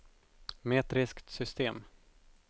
metriskt system